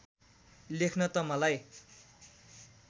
लेख्न त मलाई